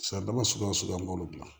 Siradaba suguya o suguya an b'olu dilan